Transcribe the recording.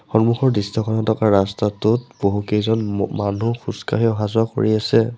সন্মুখৰ দৃশ্যখনৰ ৰাস্তাটোত বহুকেইজন ম মানুহ খোজকাঢ়ি অহা-যোৱা কৰি আছে।